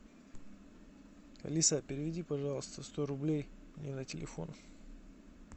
алиса переведи пожалуйста сто рублей мне на телефон